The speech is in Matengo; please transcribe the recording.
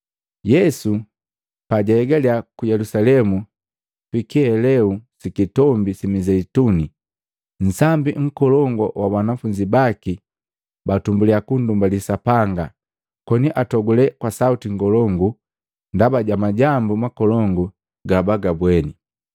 Yesu pajahegalya ku Yelusalemu, pi kihelelu si Kitombi si Mizeituni, nsambi nkolongu wa banafunzi baki batumbuliya kundumbali Sapanga koni atogule kwa sauti ngolongu ndaba ja majambu makolongu gabagabweni,